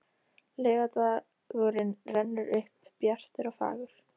Laugardagurinn rennur upp bjartur og fagur.